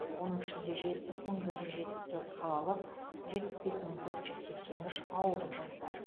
оның ішінде жетпіс мың бір жүз жетпіс төрт қалалық жетпіс бес мың төрт жүз сексен үш ауылдық жастар